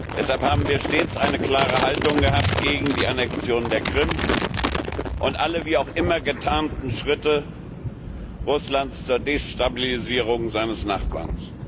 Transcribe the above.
Deshalb haben wir stets eine klare Haltung gehabt gegen die Annexion der Krim und alle wie auch immer getarnten Schritte Russlands zur Destabilisierung seines Nachbarn.